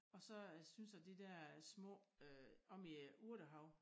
Og så øh synes jeg de dér små øh omme i æ urtehave